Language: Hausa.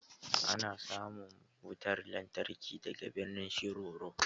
Ana samun wutar lantarki daga birnin Shiroro